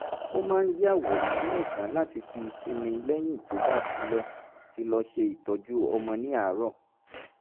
ó máa ń yàwòrán ní ọ̀sán láti fi sinmi lẹ́yìn tó bá ti lọ ti lọ ṣe iṣẹ́ ìtọ́jú ọmọ ní àárọ̀